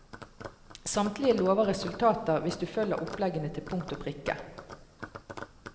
Samtlige lover resultater hvis du følger oppleggene til punkt og prikke.